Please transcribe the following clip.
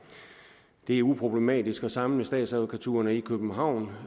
det er uproblematisk at samle statsadvokaturerne i københavn